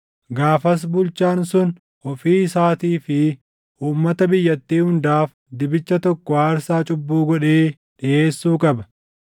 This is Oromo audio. Gaafas bulchaan sun ofii isaatii fi uummata biyyattii hundaaf dibicha tokko aarsaa cubbuu godhee dhiʼeessuu qaba.